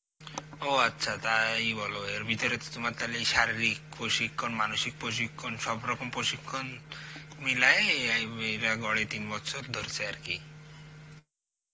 ও আচ্ছা তাই বল এর ভিতরে তো তোমার তালে এই শারীরিক প্রশিক্ষণ, মানসিক প্রশিক্ষণ, সব রকম প্রশিক্ষণ মিলায়ে অ্যাঁই উই এরা গড়ে তিন বছর ধরছে আর কি.